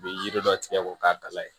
U bɛ yiri dɔ tigɛ k'o k'a bala ye